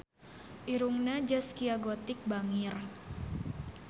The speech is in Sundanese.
Irungna Zaskia Gotik bangir